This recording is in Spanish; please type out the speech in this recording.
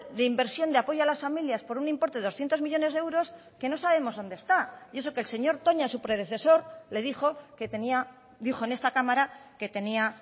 de inversión de apoyo a las familias por un importe de doscientos millónes de euros que no sabemos dónde está y eso que el señor toña su predecesor le dijo que tenía dijo en esta cámara que tenía